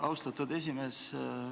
Austatud juhataja!